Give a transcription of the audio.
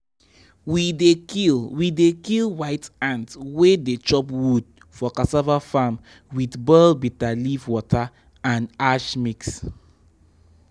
we dey kill we dey kill white ant wey dey chop wood for cassava farm with boiled bitter leaf water and ash mix.